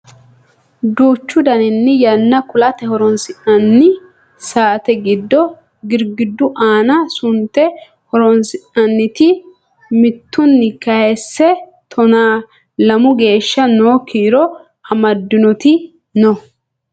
duuchu daninni yanna kulate horonsi'nanni saate giddo girgiddu aana sunte horonsi'nanniti mittunni kayiise tonaa lamu geeshsha noo kiiro amaddinoti no